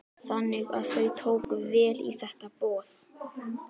Þannig að þau tóku vel í þetta boð?